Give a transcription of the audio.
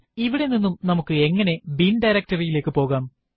ഇവിടെ നിന്ന് നമുക്ക് എങ്ങനെ ബിൻ directoryറി യിലേക്ക് പോകാം